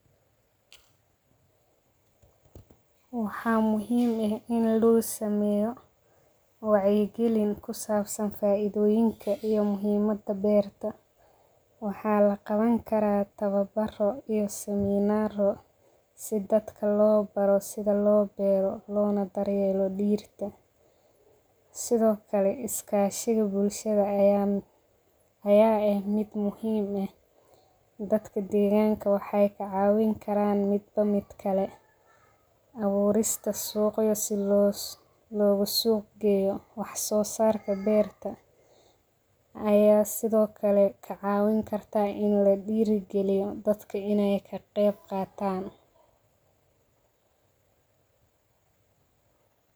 Waxaa muhiim eh ini lagu sameyo wacya galin kusabsan faidoyinka iyo muhiimaada beerta waxaa laqawn kara tawa baro iyo siminaro habka lo baro sitha lo beero iyo sitha lo daryelo digirta, sithokale iskashiga bulshaada aya eh mid muhiim eh dadka deganka waxee ka cawin karan midbo mid kale, suqa u suq geyo wax sosarka berta aya sithokale kacawin kartaa in la dira galiyo dadka in ee ka qeb qatan.